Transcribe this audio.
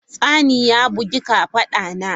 Tsani ya bugi kafada na.